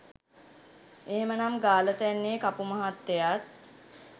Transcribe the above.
එහෙමනං ගාලතැන්නෙ කපුමහත්තයත්